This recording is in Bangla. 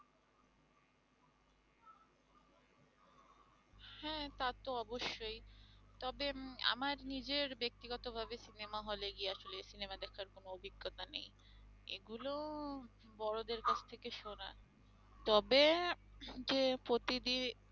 তা তো অবশ্যই তবে উম আমার নিজের ব্যক্তিগত ভাবে সিনেমা হলে গিয়ে আসোলে সিনেমা দেখার কোনো অভিজ্ঞতা নেই এগুলো বড়দের কাছ থেকে শোনা তবে যে প্রতিটি